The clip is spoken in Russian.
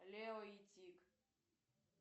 лео и тик